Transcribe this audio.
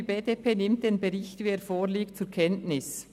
Die BDP nimmt den Bericht in vorliegender Form zur Kenntnis.